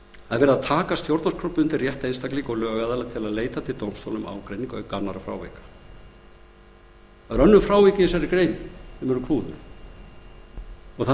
er að taka stjórnarskrárbundinn rétt einstaklinga og lögaðila til að leita til dómstóla um ágreining auk annarra frávika það eru önnur frávik í þessari grein sem eru klúður það